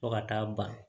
Fo ka taa ban